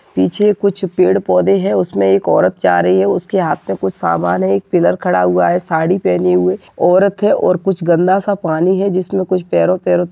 पीछे कुछ पेड़-पौधे है उसमे एक औरत जा रही है उसके हाथ मे कुछ समान है एक पिलर खड़ा हुआ है साड़ी पहने हुए औरत है और कुछ गंदा सा पानी हैं। जिसम कुछ पैरो पैरो --